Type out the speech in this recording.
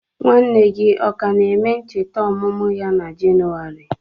Nwanne gị ọ ka na-eme ncheta ọmụmụ ya na Jenụwarị?